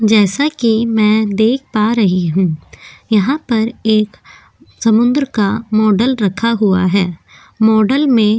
जैसा कि मैं देख पा रही हूं यहां पर एक समुंद्र का मॉडल रखा हुआ है मॉडल में --